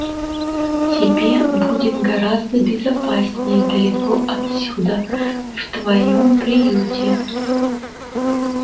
тебе будет гораздо безопаснее далеко отсюда в твоём приюте